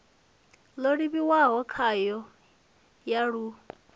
yo livhiwaho khayo ya ḽu